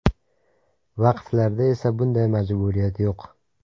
Vaqflarda esa bunday majburiyat yo‘q.